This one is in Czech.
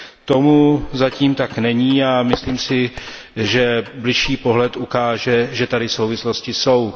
Tomu zatím tak není a myslím si, že bližší pohled ukáže, že tady souvislosti jsou.